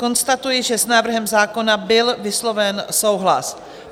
Konstatuji, že s návrhem zákona byl vysloven souhlas.